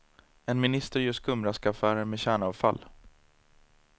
En minister gör skumraskaffärer med kärnavfall.